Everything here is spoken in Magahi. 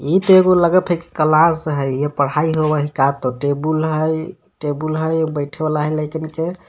इ त एगो लगथ की कलास हय इहा पढ़ाई होवे का त टेबुल हय - टेबुल हय बइठे वाला हय लइकन के.